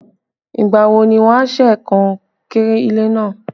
Ìgbà wo ni wọn a ṣe kankéré ilé náà?